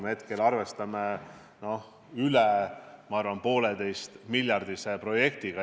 Ma arvan, et hetkel tuleb meil Eesti pinnal arvestada üle 1,5-miljardilise projektiga.